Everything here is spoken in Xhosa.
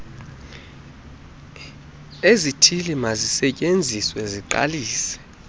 lezithili mazisetyenziswe ziqalise